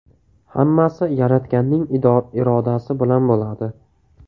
Hammasi Yaratganning irodasi bilan bo‘ladi.